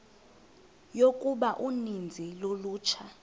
yokuba uninzi lolutsha